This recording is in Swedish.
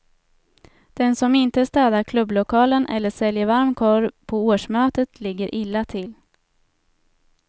Den som inte städar klubblokalen eller säljer varm korv på årsmötet ligger illa till.